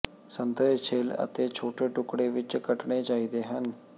ਸੰਤਰੇ ਛਿੱਲ ਅਤੇ ਛੋਟੇ ਟੁਕੜੇ ਵਿਚ ਕੱਟਣੇ ਚਾਹੀਦੇ ਹਨ